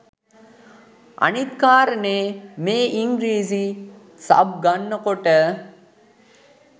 අනිත් කාරණේ මේ ඉංග්‍රිසි සබ් ගන්න කොට